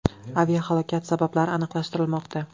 Aviahalokat sabablari aniqlashtirilmoqda.